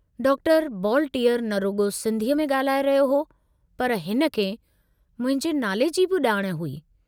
Doctor बॉलटीअर न रुगो सिन्धीअ में गाल्हाए रहियो हो, पर हिनखे मुंहिंजे नाले जी बि जाण हुई।